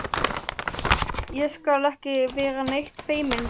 Ég skal ekki vera neitt feiminn við þig.